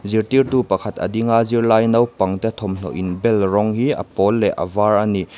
zirtirtu pakhat a ding a zirlai naupang te thawmhnaw inbel rawng hi a pawl leh a var a ni.